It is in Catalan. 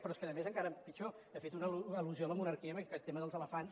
però és que a més encara pitjor ha fet una al·lusió a la monarquia amb aquest tema dels elefants